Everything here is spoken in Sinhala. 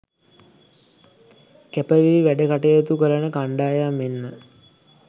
කැපවී වැඩ කටයුතු කරන කණ්ඩායම් මෙන්ම